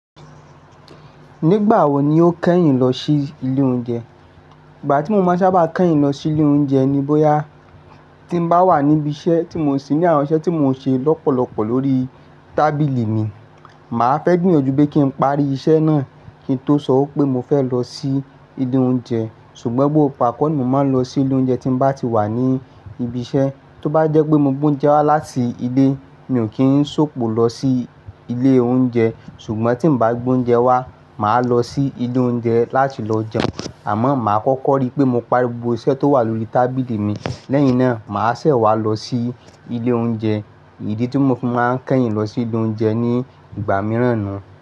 Nígbà wo ni o kẹ́yìn lọ sí ilé oúnjẹ? Ìgbà tí mo máa sábà kẹ́yìn lọ sí ilé oúnjẹ ni bóyá tí n bá wà níbi iṣẹ́ tí mò ń ṣi ní àwọn iṣẹ́ tí mò ń ṣe lọ́pọ̀lọpọ̀ lórí tábìlì mi, mà á fẹ́ gbìyànjú pé kí n parí iṣẹ́ náà kí n tó sọ pé mo fẹ́ lọ sí ilé oúnjẹ. Ṣùgbọ́n gbógbo igba kọ́ ni mò máa ń lọ sí ilé oúnjẹ tí n bá ti wà ní ibi iṣẹ́. Tó bá jẹ́ pé mo gbé oúnjẹ wá láti ilé, mi ò kí ń ṣòpò lọ sí ilé oúnjẹ. Ṣùgbọ́n tí n bá gbé oúnjẹ wá, mà á lọ sí ilé oúnjẹ láti lọ jẹun. Àmọ́ mà á kọ́kọ́ rí pé mo parí gbogbo iṣẹ́ tó wà lórí tábìlì mi. Lẹ́yìn náà, mà á ṣẹ̀ wá lọ sí ilé oúnjẹ. Idi ni tí mo fi máa ń kẹ́yìn lọ sí ilé oúnjẹ ní ìgbà mìíràn ná.